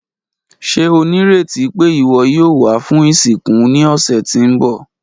Ṣe o nireti pe iwọ yoo wa fun isinku ni ọsẹ ti n bọ?